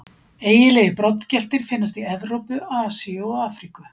Eiginlegir broddgeltir finnast í Evrópu, Asíu og Afríku.